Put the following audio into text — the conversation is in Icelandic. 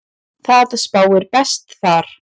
Það spáir best þar.